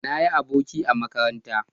Na yi aboki a makaranta